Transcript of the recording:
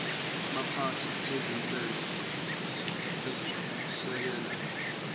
baphathi bezinhlelo ezisekela